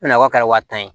Nakɔ kɛra waa tan ye